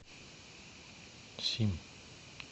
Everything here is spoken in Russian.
сим